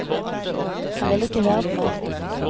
Han ville ikke høre på meg.